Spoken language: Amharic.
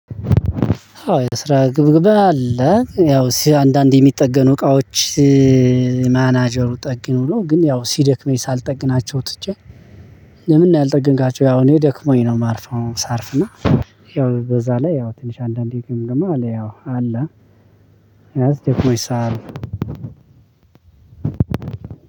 አዎ የስራ ግምገማ አለ ያው አንዳንዴ የሚጠገኑ እቃዎች ማናጀሩ ጠግኑ ብሎ ግን ያው ሲደክመኝ ሳልጠግናቸው ትቼ ለምን ነው ያልጠገንካቸው ያው እኔ ደክሞኝ ነው የማርፈው ሳርፍና ያው በዛ ላይ ያው ትንሽ አንዳንዴ ግምገማ አለ። ያው አለ ያዝ ደግሞ ይሳራል